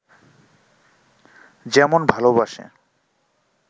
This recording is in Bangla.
যেমন ভালোবাসে